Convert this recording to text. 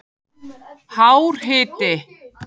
hár hiti